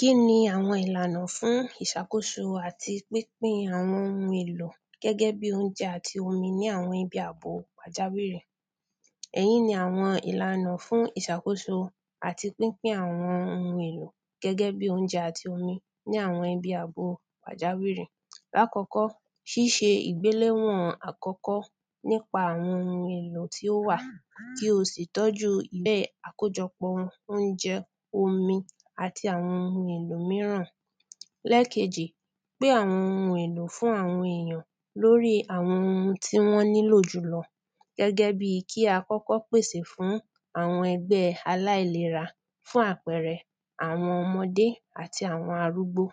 kíni àwọn ìlànà fún ìsàkóso àti pínpín àwọn oun èlò gẹ́gẹ́ bi óúnjẹ àti omi ní àwọn ibi àbò pàjáwìrì, èyí ni àwọn ìlànà fún ìsàkóso àti pínpín àwọn oun èlò gẹ́gẹ́ bi óúnjẹ àti omi ní àwọn ibi àbo pàjáwìrì, lâkọ́kọ́, síse ìgbéléwọ̀n àkọ́kọ́ nípa àwọn oun èlò tí ó wà, kí o sì tọ̀ju àkójọpọ̀ òùnjẹ, omi àti àwọn oun èlò míràn, lêkejì, pín àwọn oun èlò fún àwọn èyàn lóri àwọn oun tí wọ́n nílò jùlọ, gẹ́gẹ́ bi kí a kọ́kọ́ pèsè fún àwọn ẹgbẹ́ aláìlera, fún àpẹrẹ àwọn ọmọdé àti àwọn arúgbó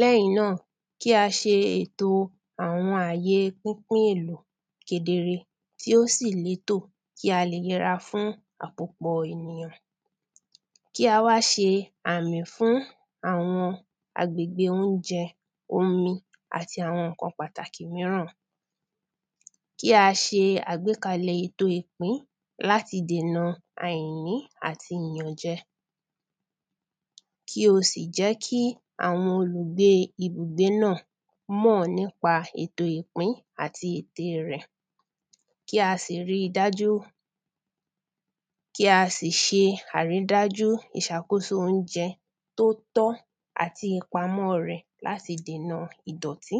lẹ́yìn náà, kí a se ètò àwọn àye pínpín èlò kedere, tí ó sì létò, kí a lè yẹra fún àkópọ̀ ènìyàn, kí a wá se àmì fún àwọn agbègbè óúnjẹ, omi, àti àwọn ńkan pàtàkì míràn, kí a se àgbékalẹ̀ ètò ìpín ìpín láti dènà àìní àti ìyànjẹ, kí o sì jẹ́ kí àwọn olùgbée ibùgbé náà mọ́ọ̀ nípa ètò ìpín àti ète rẹ̀, kí a sì ri dájú, kí a sì se àrídájú ìsàkóso óúnjẹ tó tọ́ àti ìpamọ́ọ rẹ̀ láti dènà ìdọ̀tí